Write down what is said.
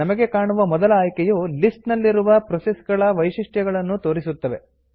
ನಮಗೆ ಕಾಣುವ ಮೊದಲ ಆಯ್ಕೆಯು ಲಿಸ್ಟ್ ನಲ್ಲಿರುವ ಪ್ರೋಸೆಸ್ ಗಳ ವೈಶಿಷ್ಟ್ಯಗಳ ನ್ನು ತೋರಿಸುತ್ತದೆ